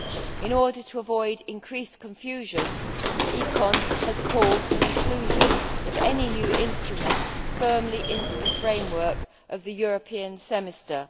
In order to avoid increased confusion, ECON has called for an inclusion of any new instrument firmly into the framework of the European Semester.